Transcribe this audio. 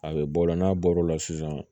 A bɛ bɔ o la n'a bɔr'o la sisan